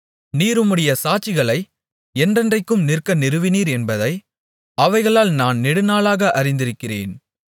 நீர் உம்முடைய சாட்சிகளை என்றென்றைக்கும் நிற்க நிறுவினீர் என்பதை அவைகளால் நான் நெடுநாளாக அறிந்திருக்கிறேன்